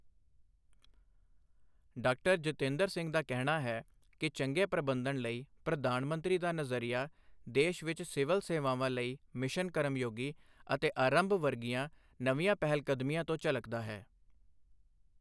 Doctor Jitendra Singh ਦਾ ਕਹਿਣਾ ਹੈ ਕਿ ਚੰਗੇ ਪ੍ਰਬੰਧਨ ਲਈ ਪ੍ਰਧਾਨ ਮੰਤਰੀ ਦਾ ਨਜ਼ਰੀਆ ਦੇਸ਼ ਵਿੱਚ ਸਿਵਲ ਸੇਵਾਵਾਂ ਲਈ ਮਿਸ਼ਨ ਕਰਮਯੋਗੀ ਅਤੇ ਆਰੰਭ ਵਰਗੀਆਂ ਨਵੀਆਂ ਪਹਿਲਕਦਮੀਆਂ ਤੋਂ ਝਲਕਦਾ ਹੈ।